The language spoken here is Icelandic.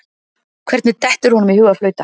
Hvernig dettur honum í hug að flauta?